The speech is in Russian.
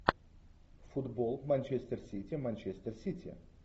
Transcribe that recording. футбол манчестер сити манчестер сити